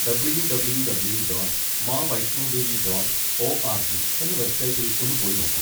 W W W dot Maavaishnodevi dot ORG, എന്ന വെബ്സൈറ്റിൽ ഒന്ന് പോയി നോക്കൂ.